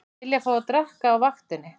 Vilja fá að drekka á vaktinni